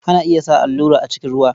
Ana iya sa allurai a cikin ruwan.